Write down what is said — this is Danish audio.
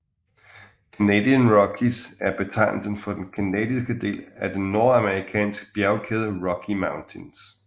Canadian Rockies er betegnelsen for den canadiske del af den nordamerikanske bjergkæde Rocky Mountains